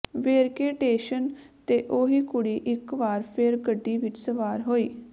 ਵੇਰਕੇ station ਤੇ ਓਹੀ ਕੁੜੀ ਇੱਕ ਵਾਰ ਫੇਰ ਗੱਡੀ ਵਿਚ ਸਵਾਰ ਹੋਈ